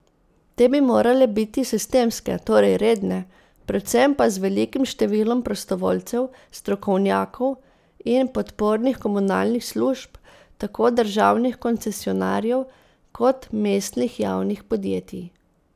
Te bi morale biti sistemske, torej redne, predvsem pa z velikim številom prostovoljcev, strokovnjakov in podpornih komunalnih služb, tako državnih koncesionarjev kot mestnih javnih podjetij.